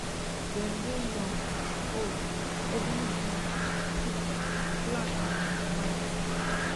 dem dey young old heavily built thin black and um white